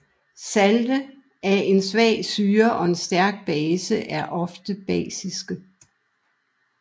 Salte af en svag syre og en stærk base er ofte basiske